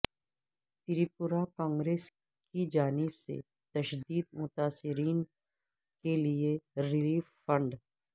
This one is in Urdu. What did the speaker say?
تریپورہ کانگریس کی جانب سے تشدد متاثرین کے لئے ریلیف فنڈ